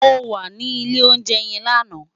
Mó wà ni ilé óunjè yèn làná